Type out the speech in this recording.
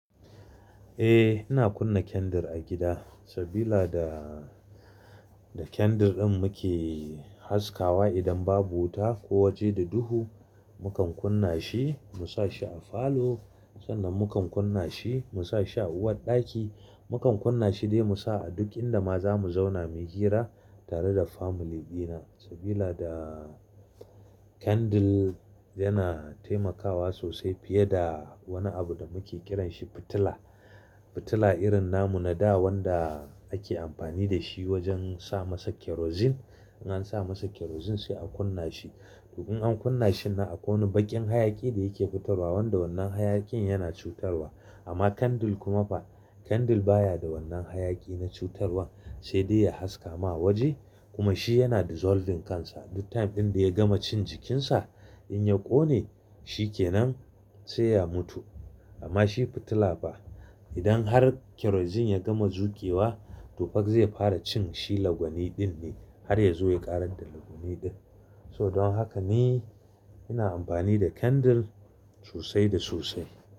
Eh, ina kunna candle a gida sabila da, da candle din muke haskawa idan babu wuta ko waje da duhu. Mukan kunna shi, mu sa shi a falo, sannan mukan kunna shi mu sa shi a uwarɗaki. Mukan kunna shi dai mu sa a duk inda ma za mu zauna mu yi hira tare da family dina. Sabila da candle yana taimakawa sosai fiye da wani abu da muke kiran shi fitila. Fitila irin namu na da wanda ake amfani da shi wajen sa masa kerosene. In an sa masa kerosene sai a kunna shi. To in an kunna shi nan akwai wani baƙin hayaƙi da yake fitarwa wanda wannan hayaƙin yana cutarwa. Amma candle kuma ba, candle baya da wannan hayaƙi na cutarwan, sai dai ya haska ma waje kuma shi yana dissolving kansa. Duk time ɗin da ya gama cin jikinsa in ya ƙone, shi ke nan sai ya mutu. Amma shi fitila fa. Idan har kerosene ya gama zuƙewa, to fa zai fara cin shi lagwani ɗin ne har ya zo ya ƙarar da lagwani ɗin. So don haka ni ina amfani da candle sosai da sosai.